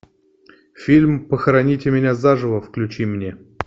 фильм похороните меня заживо включи мне